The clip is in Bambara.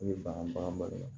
I bɛ ban bagan ma